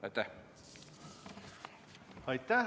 Aitäh!